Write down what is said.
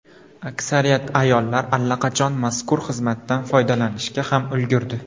Aksariyat ayollar allaqachon mazkur xizmatdan foydalanishga ham ulgurdi.